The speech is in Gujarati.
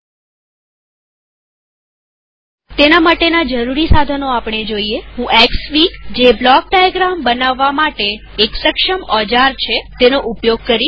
આ હેતુ માટેના જરૂરી સાધનો આપણે જોઈશું હું એક્સ ફીગજે બ્લોક ડાયાગ્રામ બનાવવા માટે એક સક્ષમ ઓજાર છે તેનો ઉપયોગ કરીશ